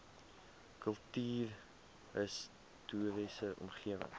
kultuurhis toriese omgewing